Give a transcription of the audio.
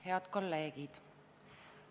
Head kolleegid!